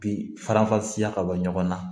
Bi farafasiya ka bɔ ɲɔgɔn na